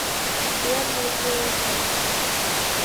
сбер радиохэд